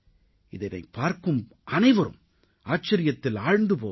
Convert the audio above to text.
இதனைப் பார்க்கும் அனைவரும் ஆச்சரியத்தில் ஆழ்ந்து போவார்கள்